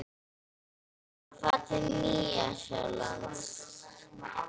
Mig langar að fara til Nýja-Sjálands.